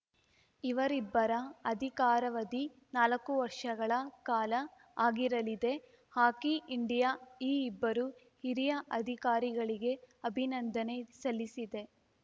ಇವರಿಬ್ಬರ ಅಧಿಕಾರಾವಧಿ ನಾಲಕ್ಕು ವರ್ಷಗಳ ಕಾಲ ಆಗಿರಲಿದೆ ಹಾಕಿ ಇಂಡಿಯಾ ಈ ಇಬ್ಬರು ಹಿರಿಯ ಅಧಿಕಾರಿಗಳಿಗೆ ಅಭಿನಂದನೆ ಸಲ್ಲಿಸಿದೆ